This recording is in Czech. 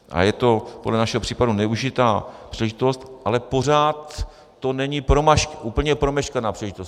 A je to podle našeho případu nevyužitá příležitost, ale pořád to není úplně promeškaná příležitost.